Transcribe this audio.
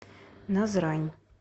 назрань